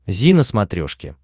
зи на смотрешке